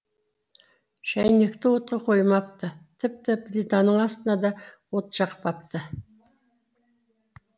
шәйнекті отқа қоймапты тіпті плитаның астына да от жақпапты